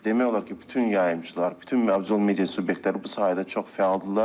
Demək olar ki, bütün yayımçılar, bütün audiovizual media subyektləri bu sahədə çox fəaldırlar.